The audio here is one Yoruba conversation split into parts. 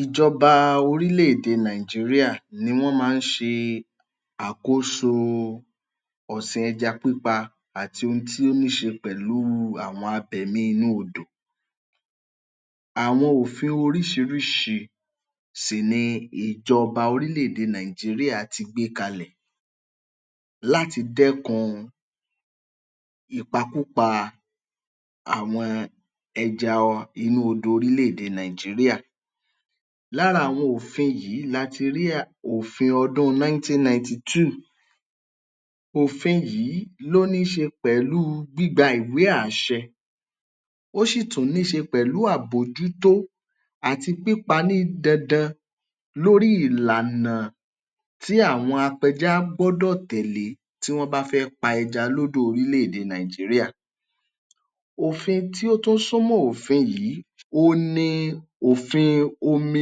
Ìjọba orílẹ̀-èdè Nigeria ni wọ́n máa ń ṣe àkóso ọ̀sìn ẹja pípa àti ohun tí ó ní ṣe pẹ̀lú àwọn abẹ̀mí inú odò. Àwọn òfin oríṣiríṣi sì ni ìjọba orílẹ̀-èdè Nigeria ti gbé kalẹ̀ láti dẹ́kun ìpakúpa àwọn ẹja ọ inú odò orílẹ̀-èdè Nigeria. Lára àwọn òfin yìí la ti rí à òfin ọdún ninety ninety-two. Òfin yìí ló ní í ṣe pẹ̀lú gbígba ìwé àṣẹ, ó ṣì tún ní í ṣe pẹ̀lú àbójútó àti pípa ní dandan lórí ìlànà tí àwọn apẹja gbọ́dọ̀ tẹ̀lé tí wọ́n bá fẹ́ pa ẹja lódò orílẹ̀-èdè Nigeria. Òfin tí ó tún súnmọ́ òfin yìí oun ni òfin omi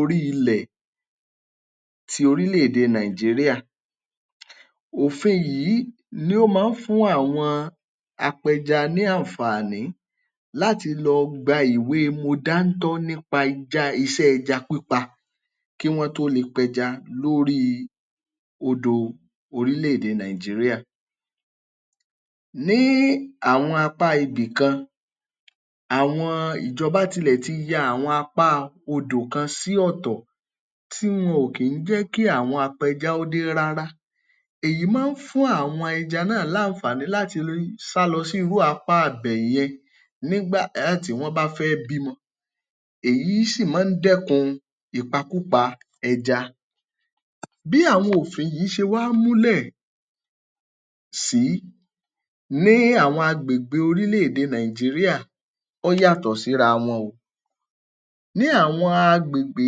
orí ilẹ̀ ti orílẹ̀-èdè Nigeria. Òfin yìí ni ó ma ń fún àwọn apẹja ní àǹfààní láti lọ gba ìwé mo dáńtọ́ nípa ẹja iṣẹ́ ẹja pípa kí wọ́n tó le pẹja lórí odò orílẹ̀-èdè Nigeria. Ní àwọn apá ibìkan, àwọn ìjọba tilẹ̀ ti ya àwọn apá odò kan sí ọ̀tọ̀, tí wọn ò kí ń jẹ́ kí àwọn apẹja ó dé rárá, èyí máa ń fún àwọn ẹja náà láǹfààní láti sá lọ sí irú apá ibẹ̀ yẹn nígbà tí wọ́n bá fẹ́ bímọ. Èyí sì máa ń dẹ́kun ìpakúpa ẹja. Bí àwọn òfin yìí ṣe wá múlẹ̀ sí ní àwọn agbègbè orílẹ̀-èdè Nigeria, ọ́ yàtọ̀ síra wọn o. Ní àwọn agbègbè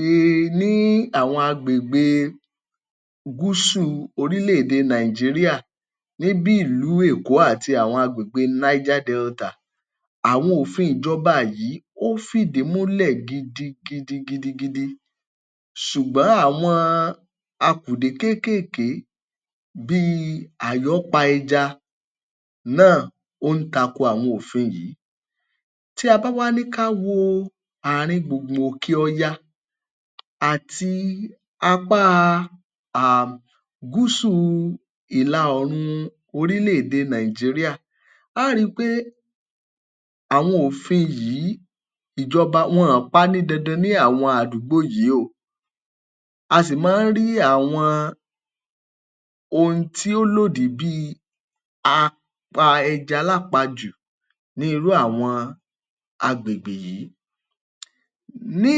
um ní àwọn agbègbè e gúsù orílẹ̀-èdè Nigeria ní bí ìlú Èkó àti àwọn agbègbè Niger Delta, àwọn òfin ìjọba yìí, ó ń fìdí múlẹ̀ gidigidi gidigidi, ṣùgbọ́n àwọn akùdé kéékèèké bíi àyọ́pa ẹja náà ó ń tako àwọn òfin yìí. Tí a bá wá ní ká wo ààrin gbùngbùn òkè ọya àti apá a gúsù ìlà oòrùn orílẹ̀-èdè Nigeria, a ó ri pé àwọn òfin yìí ìjọba wọn ọ̀ pa á ní dandan ní àwọn àdúgbò yìí o. A sì mọ́ ọ́n rí àwọn ohun tí ó lòdì bíi apa-ẹja-lápajù ní irú àwọn agbègbè yìí. Ní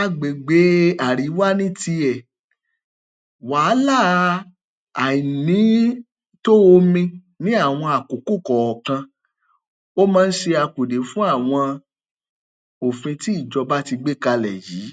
agbègbè àríwá ní tiẹ̀, wàhálà àìnító omi ní àwọn àkókò kọ̀ọ̀kan ó máa ń ṣe akùdé fún àwọn òfin tí ìjọba tí gbé kalẹ̀ yìí.